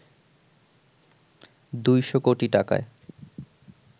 ২০০ কোটি টাকায়